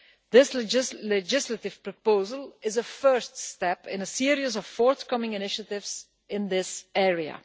This legislative proposal is a first step in a series of forthcoming initiatives in this area.